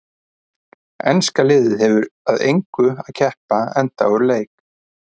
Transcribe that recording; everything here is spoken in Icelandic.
Enska liðið hefur að engu að keppa enda úr leik.